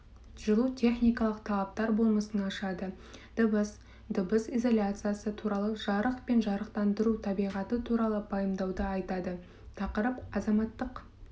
жылу техникалық талаптар болмысын ашады дыбыс дыбыс изоляциясы туралы жарық пен жарықтандыру табиғаты туралы пайымдауды айтады тақырып азаматтық